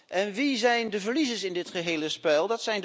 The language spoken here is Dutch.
En wie zijn de verliezers in dit gehele spel?